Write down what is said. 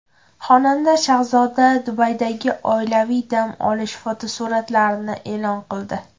Xonanda Shahzoda Dubaydagi oilaviy dam olish fotosuratlarini e’lon qildi.